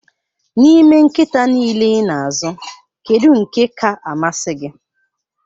N'ime nkịta niile ị na-azụ, kedu nke ka-amasị gị?